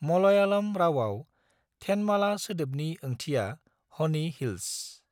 मलयालम रावआव 'थेनमाला' सोदोबनि ओंथिया 'हनी हिल्स'।